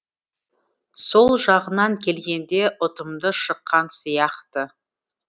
сол жағынан келгенде ұтымды шыққан сияқты